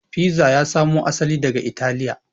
Fiza ya samo asali daga italiya